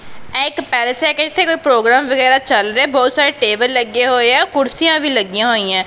ਇਹ ਇੱਕ ਪੈਲੇਸ ਹੈਗਾ ਇਥੇ ਕੋਈ ਪ੍ਰੋਗਰਾਮ ਚੱਲ ਰਿਹਾ ਬਹੁਤ ਸਾਰੇ ਟੇਬਲ ਲੱਗੇ ਹੋਏ ਆ ਕੁਰਸੀਆਂ ਵੀ ਲੱਗੀਆਂ ਹੋਈਆਂ।